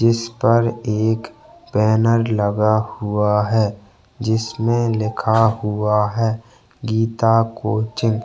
जिसपर एक बैनर लगा हुआ है जिसमे लिखा हुआ है गीता कोचिंग --